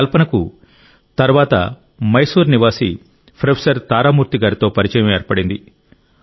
కల్పనకు తరువాత మైసూరు నివాసి ప్రొఫెసర్ తారామూర్తి గారితో పరిచయం ఏర్పడింది